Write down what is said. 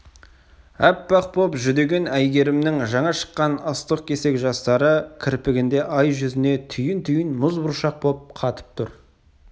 аппақ боп жүдеген әйгерімнің жаңа шыққан ыстық кесек жастары кірпігінде ай жүзіне түйін-түйін мұз бұршақ боп қатып тұр